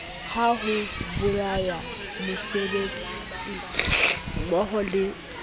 la ho bolaya mosebetsimmoho le